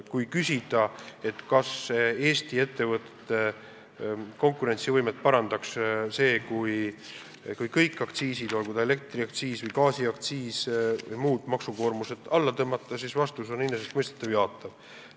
Kui küsida, kas Eesti ettevõtete konkurentsivõimet parandaks see, kui kõik aktsiisid – olgu tegu elektri- või gaasiaktsiisi või muud maksukoormusega – alla tõmmata, siis vastus on enesestmõistetavalt jaatav.